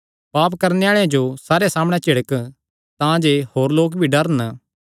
पाप करणे आल़ेआं जो सारेयां सामणै झिड़क तांजे होर लोक भी डरन